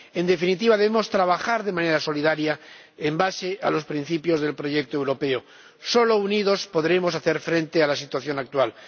En definitiva, debemos trabajar de manera solidaria sobre la base de los principios del proyecto europeo. Solo unidos podremos hacer frente a la situación actual.